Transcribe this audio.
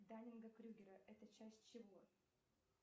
данинга крюгера это часть чего